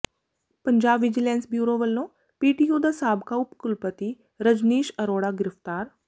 Punjab vigilance bureau ਵੱਲੋਂ PTU ਦਾ ਸਾਬਕਾ ਉਪ ਕੁਲਪਤੀ ਰਜਨੀਸ਼ ਅਰੋੜਾ ਗ੍ਰਿਫ਼ਤਾਰ